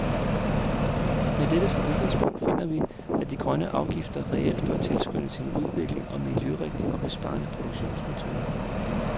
Med dette som udgangspunkt finder vi, at de grønne afgifter reelt bør tilskynde til en udvikling og miljørigtige og besparende produktionsmetoder .